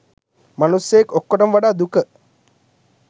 මනුස්සයෙක් ඔක්කොටම වඩා දුක